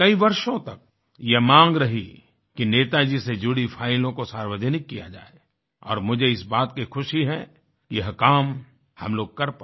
कई वर्षों तक यह मांग रही कि नेता जी से जुड़ी फाइलों को सार्वजनिक किया जाए और मुझे इस बात की खुशी है यह काम हम लोग कर पाए